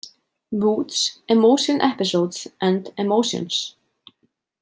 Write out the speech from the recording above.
„Moods, emotion episodes and emotions.“